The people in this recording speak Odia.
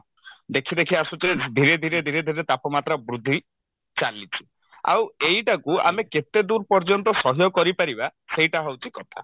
ଦେଖି ଦେଖି ଆସୁଥିଲେ ଧୀରେ ଧୀରେ ଧୀରେ ଧୀରେ ତାପମାତ୍ରା ବୃଦ୍ଧି ଚାଲିଛି ଆଉ ଏଇଟାକୁ ଆମେ କେତେଦୂର ପର୍ଯ୍ୟନ୍ତ ସହ୍ୟ କରିପାରିବା ସେଇଟା ହଉଛି କଥା